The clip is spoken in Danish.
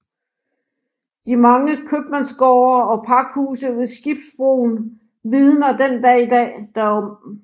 De mange kømandsgård og pakhuse ved Skibsbroen vidner den dag i dag derom